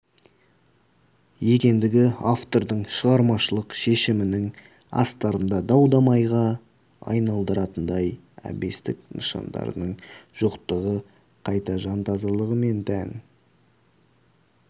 екендігі автордың шығармашылық шешімінің астарында дау-дамайға айналдыратындай әбестік нышандарының жоқтығы қайта жан тазалығы мен тән